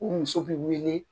U muso bi wele